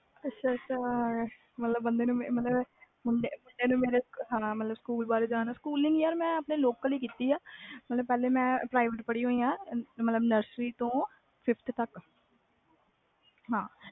ਅੱਛਾ ਅੱਛਾ ਹੁਣ ਮੇਰੇ ਸਕੂਲ ਬਾਰੇ ਯਾਰ ਮੈਂ ਲੋਕਲ ਹੀ ਪੜ੍ਹੀ ਆ nursery to fiveth ਤਕ